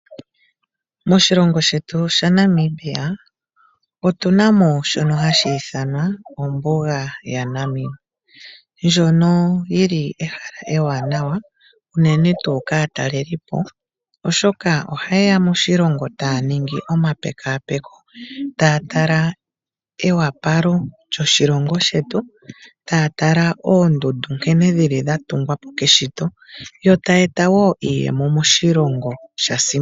Moshilongo shetu shaNamibia otuna mo shono hashi ithanwa ombuga yaNamibia. Ndjono yili ehala ewanawa uunene tu kaatalelipo oshoka oha yeya moshilongo taya ningi omapekapeko ta tala ewapalo lyoshilongo shetu, ta tala oondundu nkene dhili dha tungwapo keshito. Yo taya eta wo iiyemo moshilongo.